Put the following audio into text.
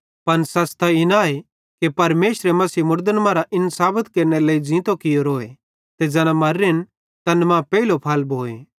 पन सच़ त इन आए कि परमेशरे मसीह मुड़दन मरां इन साबत केरनेरे लेइ ज़ींतो कियोरो ते ज़ैना मर्रेन तैन मां पेइलो फल भोए